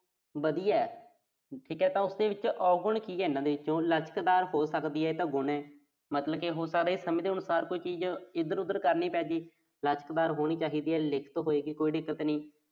ਵਧੀਆ। ਠੀਕ ਆ ਤਾਂ ਉਸਦੇ ਵਿੱਚ ਔਗੁਣ ਕੀ ਆ। ਚੋਂ। ਲਚਕਦਾਰ ਹੋ ਸਕਦੀ ਆ, ਇਹ ਤਾਂ ਗੁਣ ਆ। ਮਤਲਬ ਹੋ ਸਕਦਾ ਵੀ ਸਮੇਂ ਦੇ ਅਨੁਸਾਰ ਕੋਈ ਚੀਜ਼ ਇਧਰ-ਉਧਰ ਕਰਨੀਂ ਪੈਗੀ। ਲਚਕਦਾਰ ਹੋਣੀ ਚਾਹੀਦੀ ਆ। ਹੋਏਗੀ, ਕੋਈ ਦਿੱਕਤ ਨੀਂ।